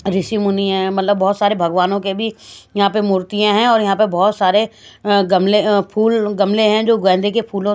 ऋषि मुनि है मतलब बहुत सारे भगवानों के भी यहां पे मूर्तियां हैं और यहां पर बहुत सारे गमले फूल गमले हैं जो गेंदा के फूलों --